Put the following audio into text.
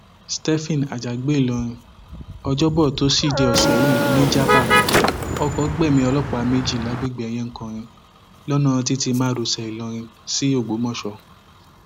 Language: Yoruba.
stephen àjàgbé ìlọrin ọjọbọ tọsídẹẹ ọsẹ yìí nìjàbá ọkọ gbẹmí ọlọpàá méjì lágbègbè eyenkorin lọnà títí márosẹ ìlọrin sí ògbómọṣọ